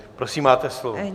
Prosím, máte slovo.